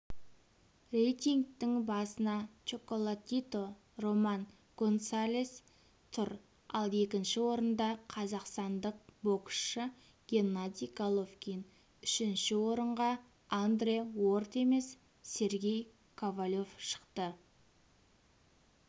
рейтингтің басында чоколатито роман гонсалес тұр ал екінші орында қазақстандық боксшы геннадий головкин үшінші орынға андре уорд емес сергей ковалев шықты